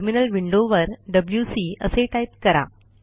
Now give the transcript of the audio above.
terminal विंडोवर WC असे type करा